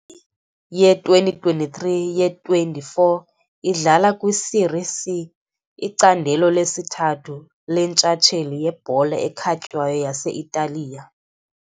Ye2023 ye24 idlala kwiSerie C, icandelo lesithathu lentshatsheli yebhola ekhatywayo yase-Italiya.